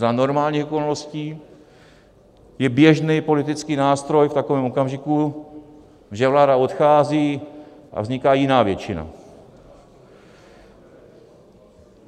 Za normálních okolností je běžný politický nástroj v takovém okamžiku, že vláda odchází a vzniká jiná většina.